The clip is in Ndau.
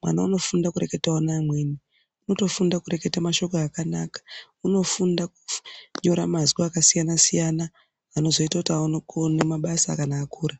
mwana unofunda kureketawo neamweni. Unotofunda kureketa mashoko akanaka unofunda kunyora mazwi akasiyana siyana anozoita kuti aone kuone mabasa kana akura.